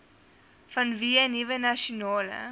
vanweë nuwe nasionale